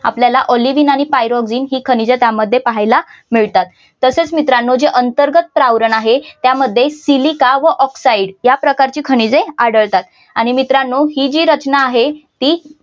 आपल्याला ऑलिव्हिन आणि पायरोक्सिन ही खनिजे त्यामध्ये पाहायला मिळतात तसेच मित्रांनो जी अंतर्गत प्रावरण आहे त्यामध्ये सिलिका व ऑक्‍साईड या प्रकारच्या खनिजे आढळतात आणि आणि मित्रांनो ही जी रचना आहे ती